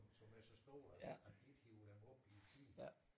Som er så store at de at de ikke hiver dem op i tide